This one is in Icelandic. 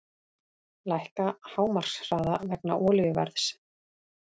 Lækka hámarkshraða vegna olíuverðs